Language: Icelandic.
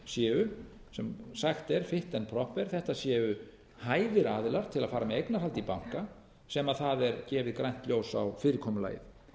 séu sem sagt er fitch and proper þetta séu hæfir aðilar til að fara með eignarhald í banka sem það er gefið grænt ljós á fyrirkomulagið